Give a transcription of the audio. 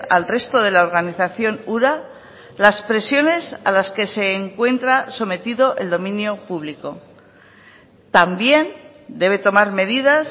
al resto de la organización ura las presiones a las que se encuentra sometido el dominio público también debe tomar medidas